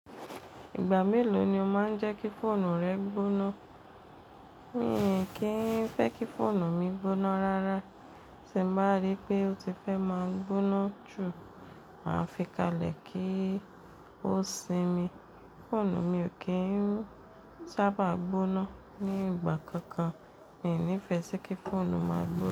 Ìgbà mélòó ni o máa ń jẹ́ kí fóònù rẹ gbóná? Mi ò kí ń fẹ́ kí fóònù mi gbóná rárá. Tí mo bá rí pé o ti fẹ́ máa gbóná jù, màá fi kalẹ̀ kí ó sinmi. Fóònù mi ò kí ń sábà gbóná ní ìgbà kankan. Mi ò ní fẹ́ kí fóònù máa gbó.